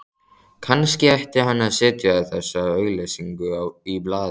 Kannski ætti hann að setja þessa auglýsingu í blaðið